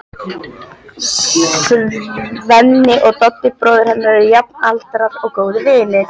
Svenni og Doddi, bróðir hennar, eru jafnaldrar og góðir vinir.